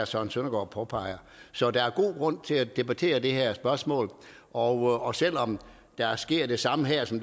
søren søndergaard påpeger så der er god grund til at debattere det her spørgsmål og og selv om der sker det samme her som